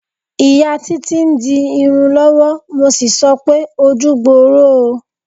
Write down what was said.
Ìyá Títí ń di irun lọ́wọ́, mo sì sọ pé "ojú gbooro o".